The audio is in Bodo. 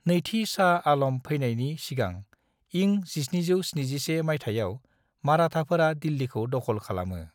नैथि शाह आलम फैनायनि सिगां इं 1771 माइथायाव मराथाफोरा दिल्लिखौ दख'ल खालामो।